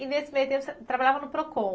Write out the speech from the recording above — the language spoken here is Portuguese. E nesse meio tempo você trabalhava no Procon?